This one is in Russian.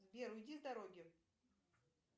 сбер уйди с дороги